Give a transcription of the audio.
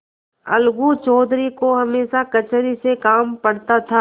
अलगू चौधरी को हमेशा कचहरी से काम पड़ता था